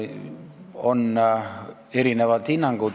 On antud erinevaid hinnanguid.